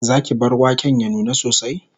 Zaki bar waken ya nuna sosai?